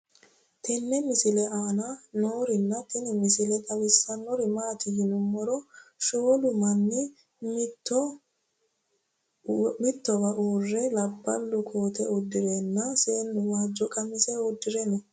tenne misile aana noorina tini misile xawissannori maati yinummoro shoolu manni mittowa uure labbalu kootte udidhenna seennu wajjo qamise uddire noo